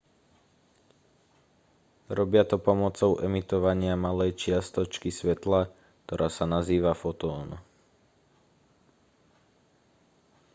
robia to pomocou emitovania malej čiastočky svetla ktorá sa nazýva fotón